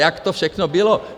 Jak to všechno bylo.